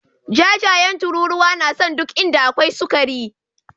Jajayen tururuwa na son duk inda akwai sukari.